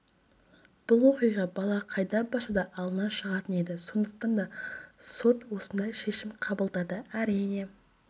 бұл оқиға бала қайда барса да алдынан шығатын еді сондықтан да сот осындай шешім қабылдады әрине